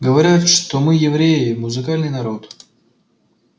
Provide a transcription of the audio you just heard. говорят что мы евреи музыкальный народ